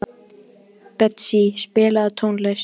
Betsý, spilaðu tónlist.